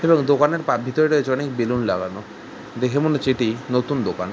দোকানের পা ভিতরে রয়েছে অনেক বেলুন লাগানো। দেখে মনে হচ্ছে এটি নতুন দোকান।